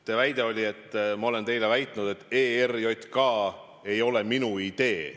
Teie väide oli, et ma olen teile väitnud, et ERJK kaotamine ei ole minu idee.